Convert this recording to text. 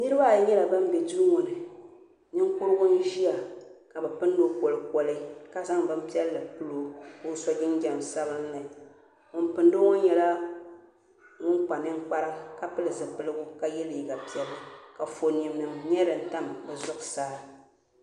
Niraba ayi nyɛla ban bɛ Duu ŋo ni ninkurigu n ʒiya ka bi pindo kolikoli ka zaŋ bin piɛlli pilo ka o so jinjɛm sabinli ŋun pindo ŋo nyɛla ŋun kpa ninkpara ka pili zipiligu ka yɛ liiga piɛlli ka Anfooni nim nyɛ din tam o zuɣusaa